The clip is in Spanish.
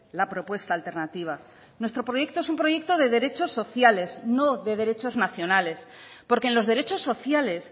la propuesta alternativa nuestro proyecto es un proyecto de derechos sociales no de derechos nacionales porque en los derechos sociales